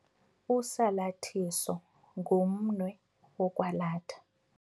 Usalathiso ngumnwe wokwalatha.